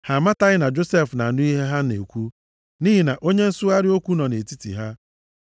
Ha amataghị na Josef na-anụ ihe ha na-ekwu, nʼihi na onye nsụgharị okwu nọ nʼetiti ha.